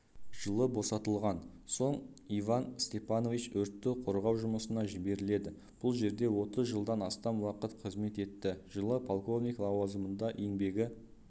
жылы босатылған соң иван степанович өртті қорғау жұмысына жіберіледі бұл жерде отыз жылдан астам уақыт қызмет етті жылы полковник лауазымында еңбегі